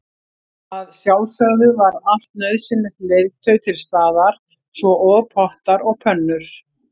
Að sjálfsögðu var allt nauðsynlegt leirtau til staðar svo og pottar og pönnur.